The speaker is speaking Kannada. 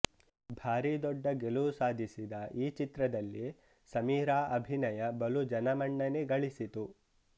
ಭಾರಿ ದೊಡ್ಡ ಗೆಲುವು ಸಾಧಿಸಿದ ಈ ಚಿತ್ರದಲ್ಲಿ ಸಮೀರಾ ಅಭಿನಯ ಬಲು ಜನಮನ್ನಣೆ ಗಳಿಸಿತು